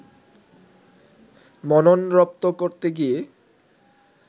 মনন রপ্ত করতে গিয়ে